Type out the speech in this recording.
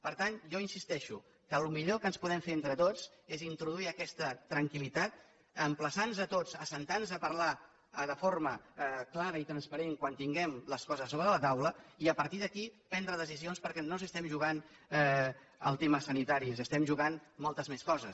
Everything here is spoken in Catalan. per tant jo insisteixo que el millor que podem fer entre tots és introduir aquesta tranquil·litat emplaçar nos tots a asseure’ns a parlar de forma clara i transparent quan tinguem les coses sobre la taula i a partir d’aquí prendre decisions perquè no ens hi estem jugant el tema sanitari ens hi estem jugant moltes més coses